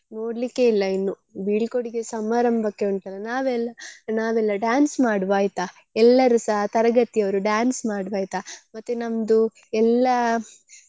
ನೋಡ್ಲಿಕ್ಕೇ ಇಲ್ಲ ಇನ್ನು ಬೀಳ್ಕೊಡುಗೆ ಸಮಾರಂಭಕ್ಕೆ ಉಂಟಲ್ಲ ನಾವೆಲ್ಲ ನಾವೆಲ್ಲ dance ಮಾಡುವ ಆಯ್ತಾ ಎಲ್ಲರೂ ಸಹ ತರಗತಿ ಅವ್ರು dance ಮಾಡುವ ಆಯ್ತಾ.